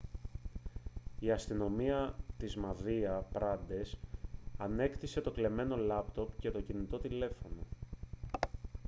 η αστυνομία της μαδία πραντές ανέκτησε το κλεμμένο λάπτοπ και το κινητό τηλέφωνο